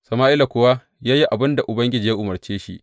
Sama’ila kuwa ya yi abin da Ubangiji ya umarce shi.